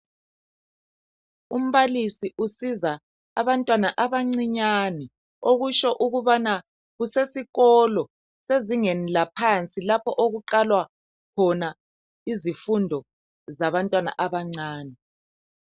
Umbalisi usiza abantwana abancinyane okutsho ukubana kusesikolo sezingeni laphansi lapho okuqalwa khona izifundo zabantwana abancane.